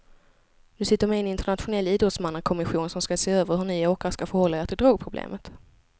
Du sitter med i en internationell idrottsmannakommission som ska se över hur ni åkare ska förhålla er till drogproblemet.